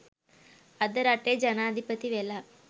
අද රටේ ජනාධිපති වෙලා.